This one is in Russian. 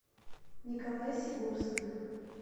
николай сигорских